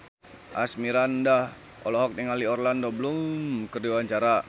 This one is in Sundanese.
Asmirandah olohok ningali Orlando Bloom keur diwawancara